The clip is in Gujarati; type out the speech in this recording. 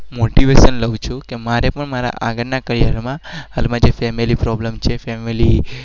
મોટિવેશન લવ છું